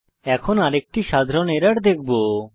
এখন আরেকটি সাধারণ এরর দেখবো